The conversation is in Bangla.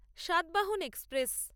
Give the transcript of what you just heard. সাতবাহন এক্সপ্রেস